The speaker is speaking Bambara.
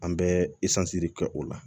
An bɛ kɛ o la